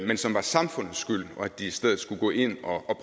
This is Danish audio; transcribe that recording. men som var samfundets skyld og at de i stedet skulle gå ind og